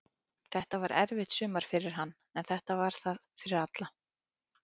Þetta var erfitt sumar fyrir hann, en þetta var það fyrir alla.